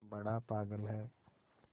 बड़ा पागल है